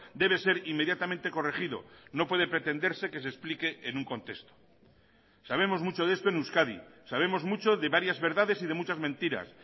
debe ser inmediatamente corregido no puede pretenderse que se explique en un contexto sabemos mucho de esto en euskadi sabemos mucho de varias verdades y de muchas mentiras